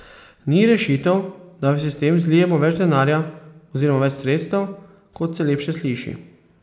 Ni rešitev, da v sistem zlijemo več denarja oziroma več sredstev, kot se lepše sliši.